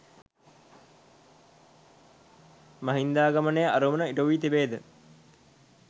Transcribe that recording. මහින්දාගමනයේ අරමුණු ඉටු වී තිබේද